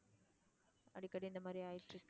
அடிக்கடி இந்த மாதிரி ஆயிட்டிருக்கு.